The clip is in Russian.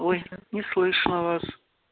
ой не слышно вас